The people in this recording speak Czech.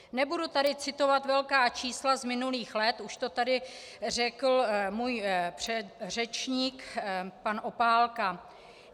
Nebudu tady citovat velká čísla z minulých let, už to tady řekl můj předřečník pan Opálka.